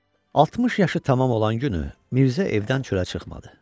60 yaşı tamam olan günü Mirzə evdən çölə çıxmadı.